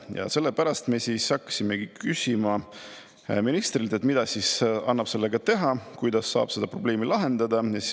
Ja sellepärast me küsida ministrilt, mida annab sellega teha, kuidas saab seda probleemi lahendada.